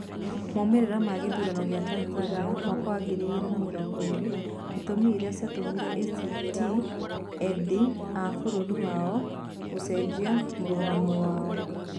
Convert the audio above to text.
Moimirĩro ma gĩthurano kĩa Tathania mwaka wa ngiri ĩgĩri na mĩrogo ĩrĩ. Itũmi iria cĩatũmire ACT-endi a bũrũri wao gũcejia mũrũgamo wao.